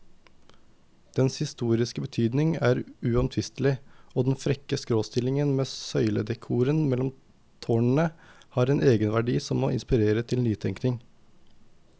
Dens historiske betydning er uomtvistelig, og den frekke skråstillingen med søyledekoren mellom tårnene har en egenverdi som må inspirere til nytenkning.